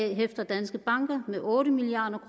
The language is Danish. hæfter danske banker med otte milliard